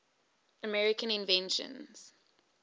american inventions